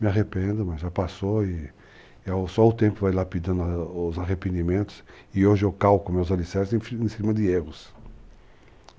Me arrependo, mas já passou e só o tempo vai lapidando os arrependimentos e hoje eu calco meus alicerces em cima de erros.